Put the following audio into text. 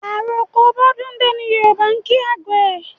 Àroko bọ́dúndé ni Yòrùbá ń kí àgbẹ̀